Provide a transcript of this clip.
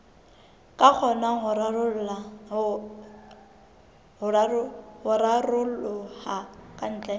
ka kgonang ho raroloha kantle